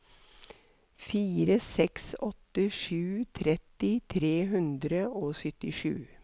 fire seks åtte sju tretti tre hundre og syttisju